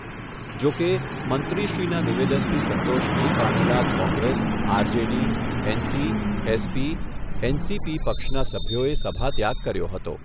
જો કે, મંત્રીશ્રીના નિવેદનથી સંતોષ નહીં પામેલા કોંગ્રેસ, આરજેડી, એનસી, એસપી, એનસીપી પક્ષના સભ્યોએ સભાત્યાગ કર્યો હતો.